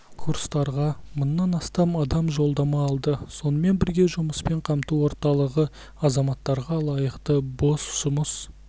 курстарға мыңнан астам адам жолдама алды сонымен бірге жұмыспен қамту орталығы азаматтарға лайықты бос жұмыс